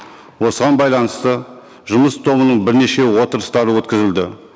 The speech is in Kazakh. осыған байланысты жұмыс тобының бірнеше отырыстары өткізілді